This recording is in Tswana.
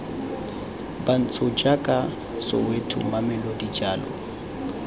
bantsho jaaka soweto mamelodi jalo